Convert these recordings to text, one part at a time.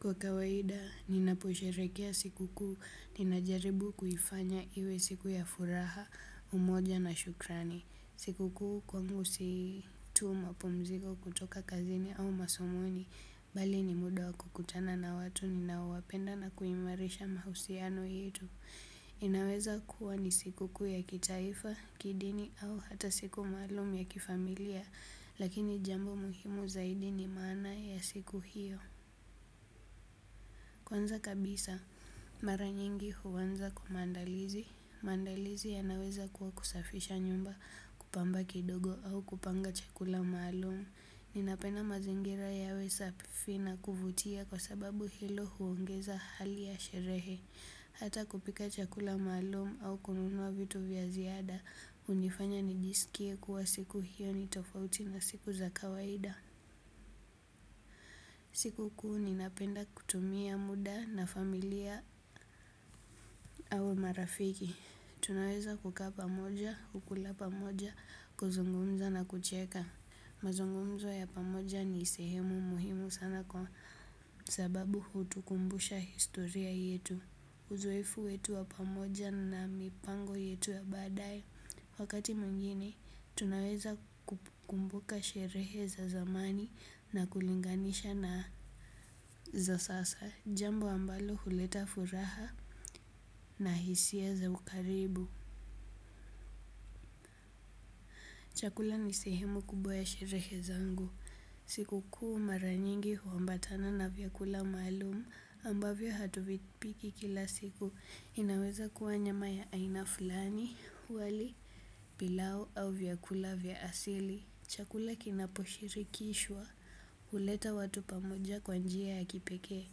Kwa kawaida, ninaposherekea sikukuu, ninajaribu kuifanya iwe siku ya furaha, umoja na shukrani. Sikukuu kwangu si tu mapomziko kutoka kazini au masomoni, bali ni muda wa kukutana na watu ninaowapenda na kuimarisha mahusiano yetu. Inaweza kuwa ni sikukuu ya kitaifa, kidini au hata siku maalum ya kifamilia, lakini jambo muhimu zaidi ni maana ya siku hiyo. Kwanza kabisa, mara nyingi huanza kwa maandalizi, maandalizi yanaweza kuwa kusafisha nyumba kupamba kidogo au kupanga chakula maalumu. Ninapenda mazingira yawe safi na kuvutia kwa sababu hilo huongeza hali ya sherehe. Hata kupika chakula maalumu au kununua vitu vya ziada, hunifanya nijisikie kuwa siku hiyo ni tofauti na siku za kawaida. Siku kuu ninapenda kutumia muda na familia au marafiki. Tunaweza kukaa pamoja, kukula pamoja, kuzungumza na kucheka. Mazungumzo ya pamoja ni sehemu muhimu sana kwa sababu hutukumbusha historia yetu. Uzoefu wetu wa pamoja na mipango yetu ya baadaye. Wakati mwengine, tunaweza kukumbuka sherehe za zamani na kulinganisha na za sasa. Jambo ambalo huleta furaha na hisia za ukaribu. Chakula ni sehemu kubwa ya sherehe zangu. Siku kuu mara nyingi huambatana na vyakula maalumu ambavyo hatuvipiki kila siku. Inaweza kuwa nyama ya aina fulani wali pilau au vyakula vya asili. Chakula kinaposhirikishwa huleta watu pamoja kwa njia ya kipekee.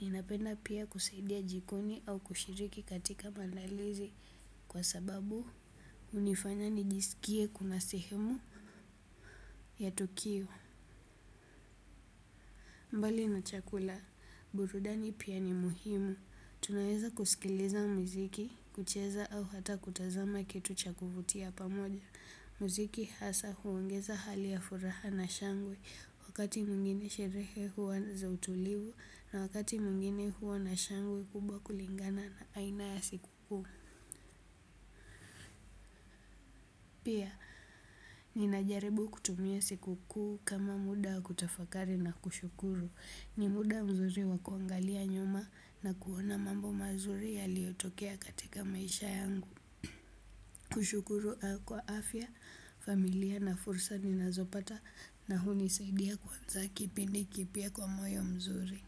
Ninapenda pia kusaidia jikoni au kushiriki katika maandalizi. Kwa sababu, hunifanya nijisikie kuna sehemu ya tukio. Mbali na chakula, burudani pia ni muhimu. Tunaweza kusikiliza miziki, kucheza au hata kutazama kitu cha kuvutia pamoja. Muziki hasa huongeza hali ya furaha na shangwe wakati mwengine sherehe huwa za utulivu na wakati mwengine huwa na shangwe kubwa kulingana na aina ya siku kuu. Pia, ninajaribu kutumia siku kuu kama muda wa kutafakari na kushukuru. Ni muda mzuri wa kuangalia nyuma na kuona mambo mazuri yaliyotokea katika maisha yangu. Kushukuru kwa afya, familia na fursa ninazopata na hunisaidia kuanza kipindi kipya kwa moyo mzuri.